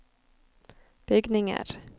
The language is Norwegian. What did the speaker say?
bygninger